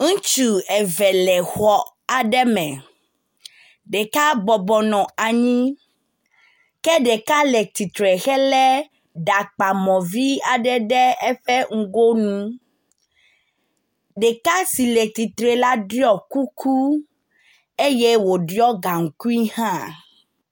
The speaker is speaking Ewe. Ŋutsu eve le xɔ aɖe me, ɖeka bɔbɔ nɔ anyi ke ɖeka le tsitre helé ɖakpamɔ vi aɖe ɖe ŋgonu. Ɖeka si le tsitre la ɖɔ kuku eye wòɖɔ gaŋkui hã.